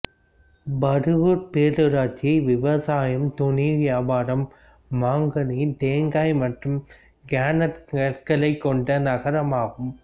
பருகூா் பேரூராட்சி விவசாயம் துணி வியாபாரம் மாங்கனி தேங்காய் மற்றும் கிரைனட் கற்கள் கொண்ட நகரமாகும்